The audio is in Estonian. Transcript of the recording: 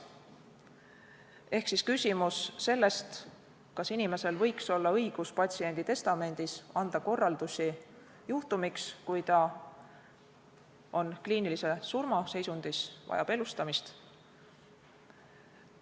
Ehk küsimus sellest, kas inimesel võiks olla õigus patsienditestamendis anda korraldusi juhuks, kui ta on kliinilise surma seisundis, kas elustada või mitte.